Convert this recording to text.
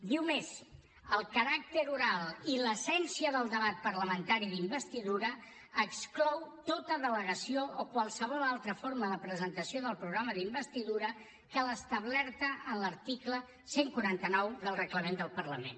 diu més el caràcter oral i l’essència del debat parlamentari d’investidura exclou tota delegació o qualsevol altra forma de presentació del programa d’investidura que l’establerta en l’article cent i quaranta nou del reglament del parlament